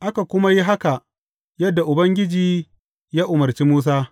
Aka kuma yi haka, yadda Ubangiji ya umarci Musa.